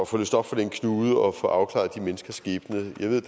få løst op for den knude og få afklaret de menneskers skæbne jeg ved at